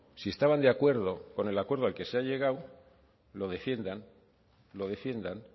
si estaban de acuerdo con el acuerdo al que se ha llegado lo defiendan lo defiendan